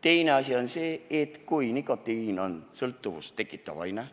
Teine asi on see, et kui nikotiin on sõltuvust tekitav aine,